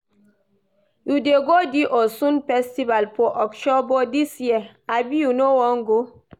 You dey go di Osun festival for Osogbo dis year, abi you no wan go?